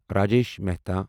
Rajesh Mehta